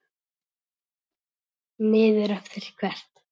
Niður eftir hvert?